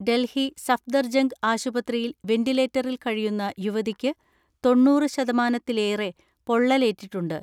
ഡൽഹി സഫ്ദർജംഗ് ആശുപത്രിയിൽ വെന്റിലേറ്ററിൽ കഴിയുന്ന യുവതിയ്ക്ക് തൊണ്ണൂറ് ശതമാനത്തിലേറെ പൊള്ളലേറ്റിട്ടുണ്ട്.